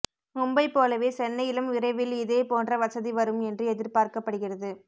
மும்பை போலவே சென்னையிலும் விரைவில் இதே போன்ற வசதி வரும் என்று எதிர்பார்க்கப்படுகிறது